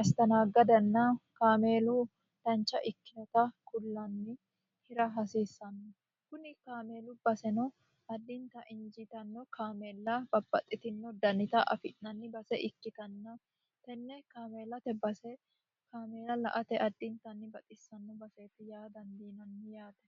astanaaggadanna kaameelu dancha ikkinota kullaanni hira hasiissanno kuni kaameelu baseno addinta injiitanno kaameella babbaxxitino dannita afi'nanni base ikkitanna tenne kaameelate base kaameela la ate addintanni baxissanno baseeti yaa dandiinanni yaate